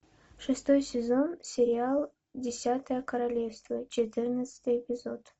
шестой сезон сериал десятое королевство четырнадцатый эпизод